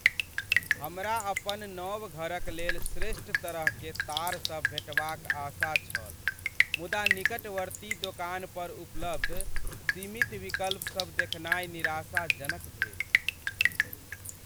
हमरा अपन नव घरक लेल श्रेष्ठ तरह के तार सभ भेटबाक आशा छल, मुदा निकटवर्ती दोकान पर उपलब्ध सीमित विकल्पसभ देखनाइ निराशाजनक भेल ।